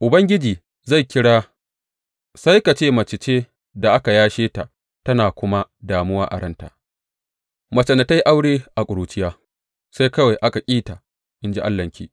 Ubangiji zai kira sai ka ce ke mace ce da aka yashe ta tana kuma damuwa a ranta, macen da ta yi aure a ƙuruciya, sai kawai aka ƙi ta, in ji Allahnki.